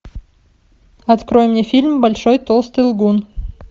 открой мне фильм большой толстый лгун